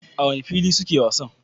A wane fili suke wasan?